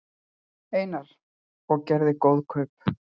Einar: Og gerðirðu góð kaup?